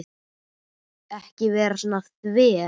Ekki vera svona þver.